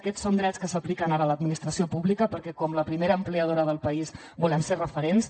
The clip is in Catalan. aquests són drets que s’apliquen ara a l’administració pública perquè com la primera empleadora del país volem ser referents